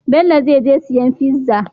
Bello zai je ya siyo pizza